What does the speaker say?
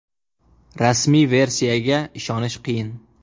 Rasmiy versiyaga ishonish qiyin.